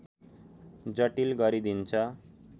जटिल गरिदिन्छ